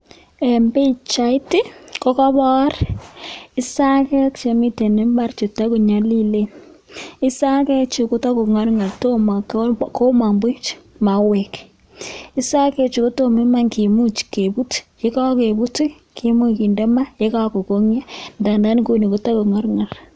Eng pichait ko kobor isakek chemitei imbar cheto konyalilen isakek chu kota kongorngor tomo komong buch mauek isakek chu kotomo iman kemuch kebut ye kakebut kimuch komuch kinde ma yekakokonyo [mu] inguni kota ko ngorngor